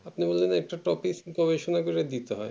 আপনি বললেন একটা topic গবেষণা করে দিতে হয়ে